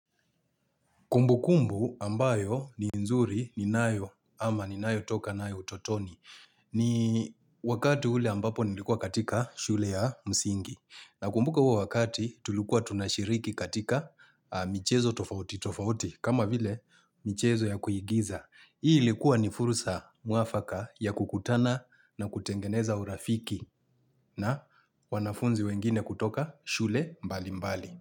Kumbukumbu ambayo ni nzuri ninayo ama ninayotoka nayo utotoni ni wakati ule ambapo nilikuwa katika shule ya msingi nakumbuka huo wakati tulikuwa tunashiriki katika michezo tofauti tofauti kama vile michezo ya kuyigiza. Hii ilikuwa ni furusa mwafaka ya kukutana na kutengeneza urafiki na wanafunzi wengine kutoka shule mbali mbali.